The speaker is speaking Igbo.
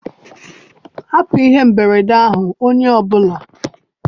Hapụ ihe mberede ahụ, onye ọ bụla!